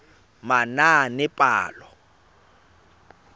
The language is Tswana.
manaanepalo